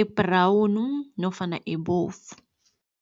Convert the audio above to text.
ebhrawnu nofana ebovu.